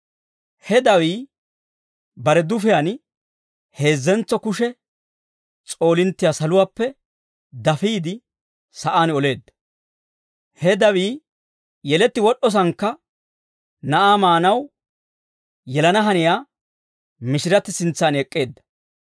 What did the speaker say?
He dawii bare dufiyaan heezzentso kushe s'oolinttiyaa saluwaappe dafiide, sa'aan oleedda. He dawii yeletti wod'd'osaannakka na'aa maanaw yelana haniyaa mishiratti sintsan ek'k'eedda.